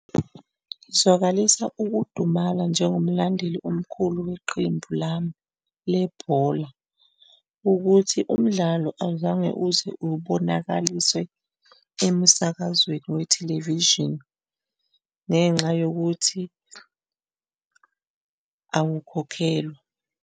Zwakalisa ukudumala njengomlandeli omkhulu weqembu lami lebhola ukuthi umdlalo awuzange uze ubonakaliswe emsakazweni wethelevishini, ngenxa yokuthi awukhokhelwa.